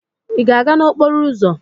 Ị ga-aga n'okporo ụzọ?